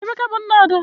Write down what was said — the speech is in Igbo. Emeka bu nna Ada.